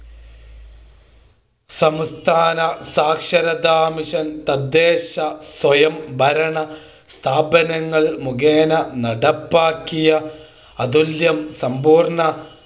സംസ്ഥാന സാക്ഷരതാ മിഷൻ തദ്ദേശ സ്വയംഭരണ സ്ഥാപനങ്ങൾ മുഖേന നടപാക്കിയ അതുല്യo സമ്പൂർണ്ണ